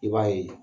I b'a ye